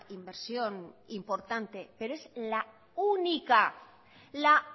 inversión importante pero es la única la